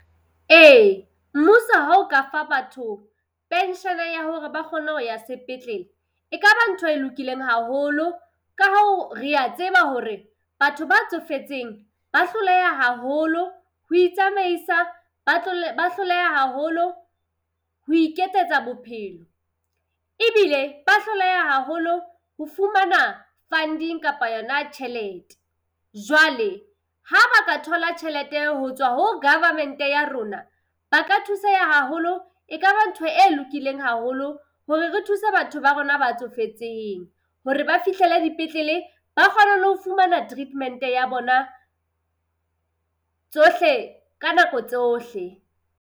Ee mmuso ha o ka fa batho pension ya hore ba kgone ho ya sepetlele, ekaba ntho e lokileng haholo. Ka hoo rea tseba hore batho ba tsofetseng ba hloleha haholo ho itsamaisa, ba ba hloleha haholo ho iketsetsa bophelo. Ebile ba hloleha haholo ho fumana funding kapa yona tjhelete. Jwale ha ba ka thola tjhelete eo ho tswa ho Government ya rona ba ka thuseha haholo. E ka ba ntho e lokileng haholo hore re thuse batho ba rona ba tsofetseng hore ba fihlele dipetlele, ba kgone ho fumana treatment ya bona tsohle ka nako tsohle.